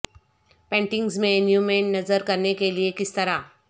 paintings میں نیومین نظر کرنے کے لئے کس طرح